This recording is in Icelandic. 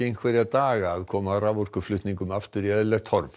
einhverja daga að koma raforkuflutningum aftur í eðlilegt horf